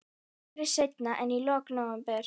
Aldrei seinna en í lok nóvember.